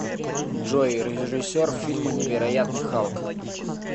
джой режиссер фильма невероятный халк